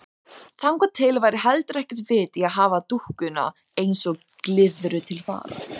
Þangað til væri heldur ekkert vit í að hafa dúkkuna eins og glyðru til fara.